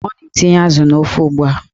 Ọ na-etinye azụ n'ofe ugbua